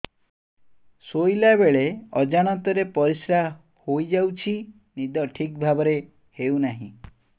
ଶୋଇଲା ବେଳେ ଅଜାଣତରେ ପରିସ୍ରା ହୋଇଯାଉଛି ନିଦ ଠିକ ଭାବରେ ହେଉ ନାହିଁ